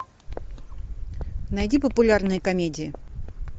найди популярные комедии